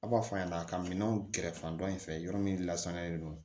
Aw b'a fɔ a ɲɛna a ka minɛnw kɛrɛfɛ in fɛ yɔrɔ min lasaniyalen don